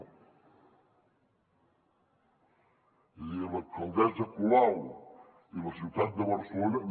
és a dir l’alcaldessa colau i la ciutat de barcelona